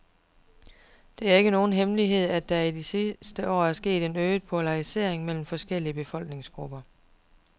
Det er ikke nogen hemmelighed, at der i de sidste år er sket en øget polarisering mellem forskellige befolkningsgrupper.